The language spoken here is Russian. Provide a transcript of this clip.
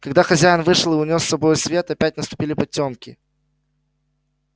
когда хозяин вышел и унёс с собою свет опять наступили потёмки